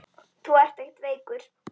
Þú ert ekkert veikur.